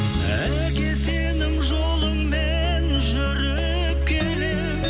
әке сенің жолыңмен жүріп келемін